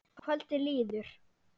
Kvöldið líður.